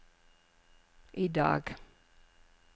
idag